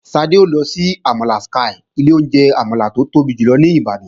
Ṣadé ó lọ sí àmàlà Sky, ilé oúnjẹ àmàlà tó tóbi jù ní Ìbàdàn.